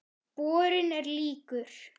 Borinn er líkur